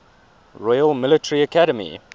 royal military academy